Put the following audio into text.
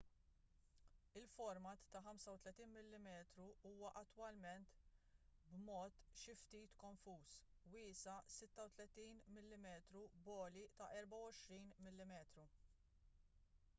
il-format ta' 35mm huwa attwalment b'mod xi ftit konfuż wiesa' 36mm b'għoli ta' 24mm